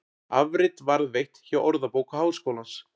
Afrit varðveitt hjá Orðabók Háskólans.